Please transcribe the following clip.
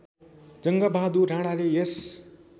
जङ्गबहादुर राणाले यस